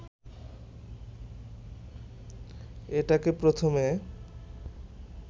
এটাকে প্রথমে